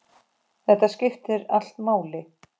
Þetta skiptir allt máli.